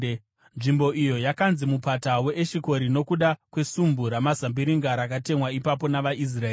Nzvimbo iyo yakanzi Mupata weEshikori nokuda kwesumbu ramazambiringa rakatemwa ipapo navaIsraeri.